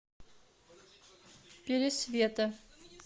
пересвета